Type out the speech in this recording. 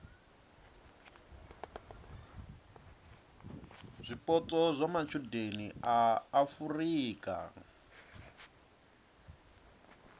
zwipotso zwa matshudeni a afurika